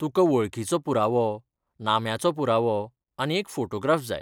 तुका वळखीचो पुरावो, नाम्याचो पुरावो आनी एक फोटोग्राफ जाय.